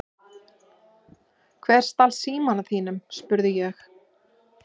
Hver stal símanum þínum? spurði ég.